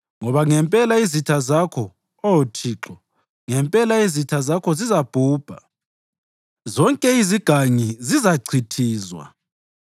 Ngoba ngempela izitha zakho, Oh Thixo, ngempela izitha zakho zizabhubha; zonke izigangi zizachithizwa.